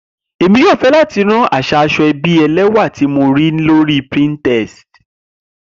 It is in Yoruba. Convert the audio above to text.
Emi yoo fẹ lati ran aṣa asoebi ẹlẹwà ti mo rii lori pinterest.